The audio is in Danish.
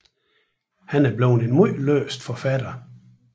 Han er blevet en meget læst forfatter